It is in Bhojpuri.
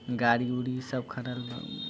गाड़ी उड़ी सब खड़ल बा।